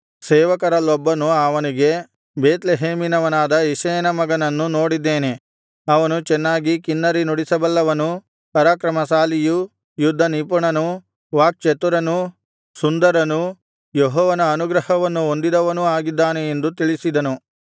ಸೇವಕರಲ್ಲೊಬ್ಬನು ಅವನಿಗೆ ಬೇತ್ಲೆಹೇಮಿನವನಾದ ಇಷಯನ ಮಗನನ್ನು ನೋಡಿದ್ದೇನೆ ಅವನು ಚೆನ್ನಾಗಿ ಕಿನ್ನರಿ ನುಡಿಸಬಲ್ಲವನೂ ಪರಾಕ್ರಮಶಾಲಿಯೂ ಯುದ್ಧ ನಿಪುಣನೂ ವಾಕ್ಚತುರನೂ ಸುಂದರನೂ ಯೆಹೋವನ ಅನುಗ್ರಹವನ್ನು ಹೊಂದಿದವನೂ ಆಗಿದ್ದಾನೆ ಎಂದು ತಿಳಿಸಿದನು